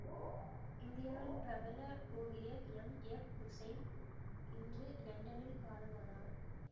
இந்தியாவின் பிரபல ஓவியர் எம் எப் உசைன் இன்று இலண்டனில் காலமானார்